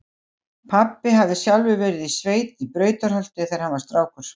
Pabbi hafði sjálfur verið í sveit í Brautarholti þegar hann var strákur.